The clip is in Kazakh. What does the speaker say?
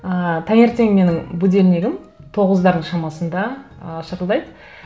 ыыы таңертең менің будильнигім тоғыздардың шамасында ы шырылдайды